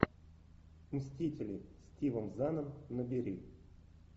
мстители с стивом заном набери